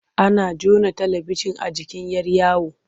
Ana jona talibijin a jikin 'yar yawo.